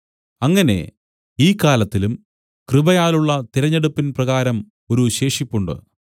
അങ്ങനെ ഈ കാലത്തിലും കൃപയാലുള്ള തിരഞ്ഞെടുപ്പിൻ പ്രകാരം ഒരു ശേഷിപ്പുണ്ട്